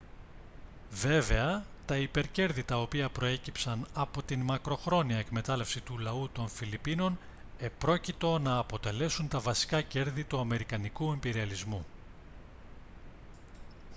βέβαια τα υπερκέρδη τα οποία προέκυψαν από τη μακροχρόνια εκμετάλλευση του λαού των φιλιππίνων επρόκειτο να αποτελέσουν τα βασικά κέρδη του αμερικανικού ιμπεριαλισμού